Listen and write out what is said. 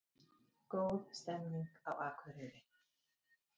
Góð stemning á Akureyri